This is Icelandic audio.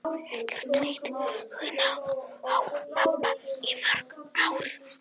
Ég hafði ekki leitt hugann að pabba í mörg ár.